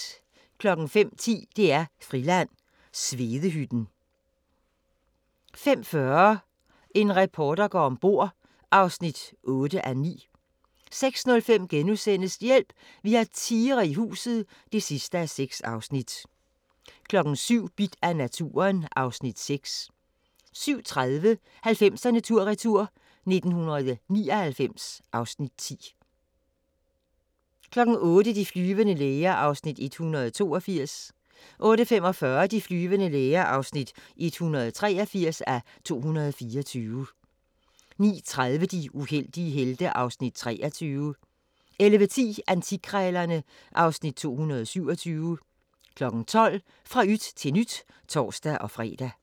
05:10: DR-Friland: Svedehytten 05:40: En reporter går om bord (8:9) 06:05: Hjælp! Vi har tigre i huset (6:6)* 07:00: Bidt af naturen (Afs. 6) 07:30: 90'erne tur-retur: 1999 (Afs. 10) 08:00: De flyvende læger (182:224) 08:45: De flyvende læger (183:224) 09:30: De uheldige helte (Afs. 23) 11:10: Antikkrejlerne (Afs. 217) 12:00: Fra yt til nyt (tor-fre)